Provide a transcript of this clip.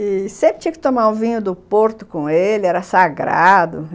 E sempre tinha que tomar o vinho do Porto com ele, era sagrado.